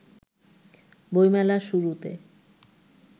বইমেলার শুরুতে